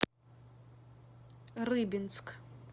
рыбинск